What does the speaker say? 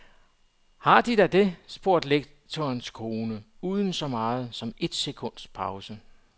Har de da det, spurgte lektorens kone, uden så meget som et sekunds pause.